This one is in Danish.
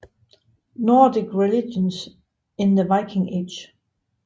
Nordic Religions in the Viking Age